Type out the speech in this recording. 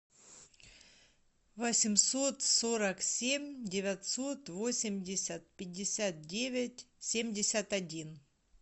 восемьсот сорок семь девятьсот восемьдесят пятьдесят девять семьдесят один